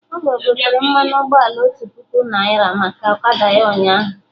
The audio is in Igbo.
Ogo gotere mmanụ ụgbọala otu puku naira maka ọkada ya ụnyaahụ